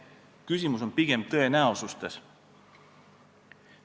Küsimus on pigem tõenäosuses.